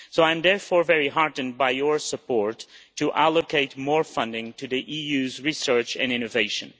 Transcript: I am therefore very heartened by your support for allocating more funding to the EU's research and innovation.